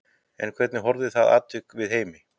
En hvernig horfði það atvik við Heimi?